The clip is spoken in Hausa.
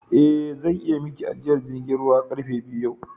Eh zan iya Miki ajiyar jirgi zuwa karfe biyu yau